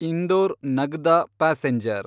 Indore Nagda passenger